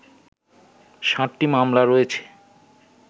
সাতটি মামলা রয়েছে